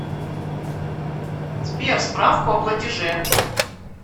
сбер справку о платиже